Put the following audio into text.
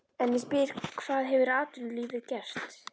En ég spyr hvað hefur atvinnulífið gert?